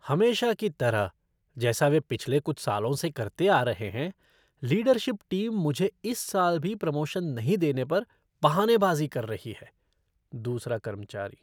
हमेशा की तरह जैसा वे पिछले कुछ सालों से करते आ रहा हैं, लीडरशिप टीम मुझे इस साल भी प्रमोशन नहीं देने पर बहानेबाज़ी कर रही है। दूसरा कर्मचारी